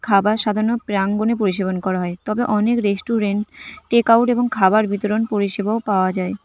খাবার প্রাঙ্গনে পরিশেবন করা হয় তবে অনেক রেস্টুরেন্ট টেক আউট এবং খাবার বিতরণ পরিষেবাও পাওয়া যায়।